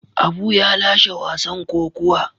Abu ya lashe wasan kokuwa.